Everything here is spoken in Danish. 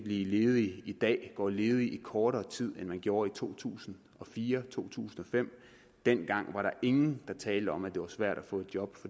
ledig i dag går ledig i kortere tid end man gjorde i to tusind og fire og to tusind og fem dengang var der ingen der talte om at det var svært at få et job